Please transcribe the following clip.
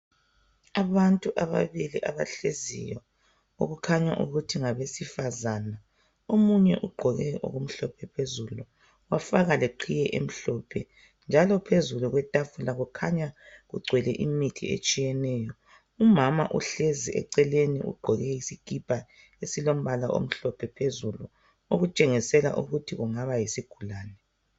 Abantu ababili abahleziyo okukhanya ukuthi ngabesifazana omunye uqgoke okumhlophe phezulu wafaka leqhiye emhlophe njalo phezulu kwetafula kukhanya kugcwele imithi etshiyeneyo umama uhlezi eceleni uqgoke isikipa esilombala omhlophe phezulu okutshengisela ukuthi kungaba yisigulane